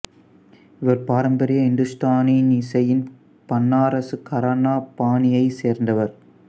இவர் பாரம்பரிய இந்துஸ்தானி இசையின் பனாரசு கரானா பாணியைச் சேர்ந்தவர்